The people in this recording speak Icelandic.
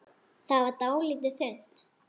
Það varð dálítið þunnt.